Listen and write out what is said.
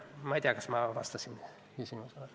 Ma ei tea, kas ma vastasin küsimusele.